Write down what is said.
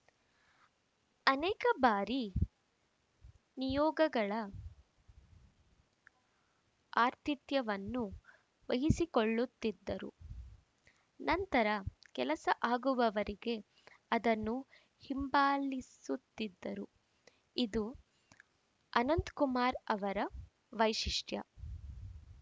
ಅನೇಕ ಬಾರಿ ನಿಯೋಗಗಳ ಆತಿಥ್ಯವನ್ನೂ ವಹಿಸಿಕೊಳ್ಳುತ್ತಿದ್ದರು ನಂತರ ಕೆಲಸ ಆಗುವವರೆಗೆ ಅದನ್ನು ಹಿಂಬಾಲಿಸುತ್ತಿದ್ದರು ಇದು ಅನಂತಕುಮಾರ್‌ ಅವರ ವೈಶಿಷ್ಟ್ಯ